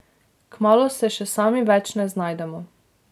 Kmalu se še sami več ne znajdemo.